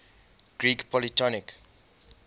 greek polytonic